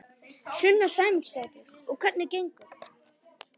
Sunna Sæmundsdóttir: Og hvernig gengur?